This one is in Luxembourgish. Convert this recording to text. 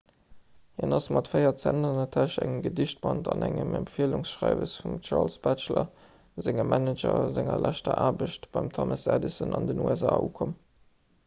hien ass mat 4 cent an der täsch engem gedichtband an engem empfielungsschreiwes vum charles batchelor sengem manager a senger leschter aarbecht beim thomas edison an den usa ukomm